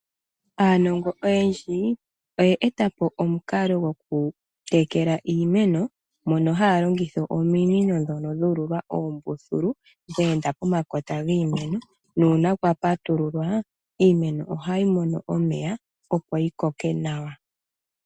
Aanongo oyendji oye etapo omukalo gwokutekela iimeno, mono haya longitha ominino ndhono dhu ululwa oombululu, dhe enda pomakota giimeno, nuuna kwa patululwa, iimeno ohayi mono omeya opo yikoke nawa.